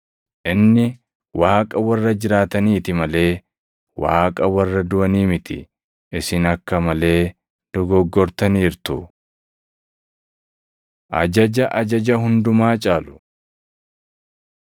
Inni Waaqa warra jiraataniiti malee Waaqa warra duʼanii miti. Isin akka malee dogoggortaniirtu!” Ajaja Ajaja Hundumaa Caalu 12:28‑34 kwf – Mat 22:34‑40